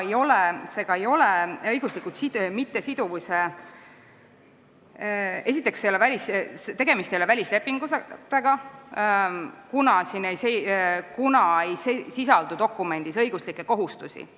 Esiteks, tegemist ei ole välislepinguga, kuna dokumendis ei sisaldu õiguslikke kohustusi.